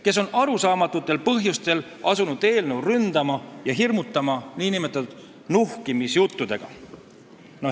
Nad on arusaamatutel põhjustel asunud eelnõu ründama ja meid nuhkimisjuttudega hirmutama.